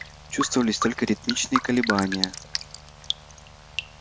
чувствовались только ритмичные колебания